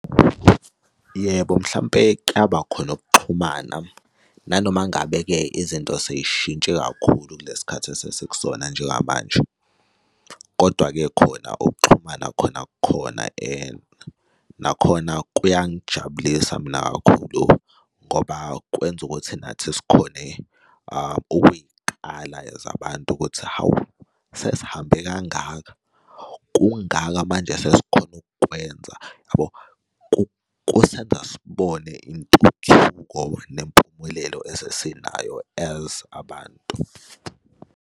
Yebo, mhlampe kuyaba khona ukuxhumana nanoma ngabe-ke izinto sey'shintshe kakhulu kulesikhathi esesikusona njengamanje. Kodwa-ke khona ukuxhumana khona kukhona. Nakhona kuyangijabulisa mina kakhulu ngoba kwenza ukuthi nathi sikhone ukuy'kala as abantu ukuthi hawu, sesihambe kangaka, kungaka manje esesikhona ukukwenza, yabo? Kusengasibona intuthuko nempumelelo esesinayo as abantu.